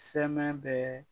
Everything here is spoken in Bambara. Sɛmɛ bɛ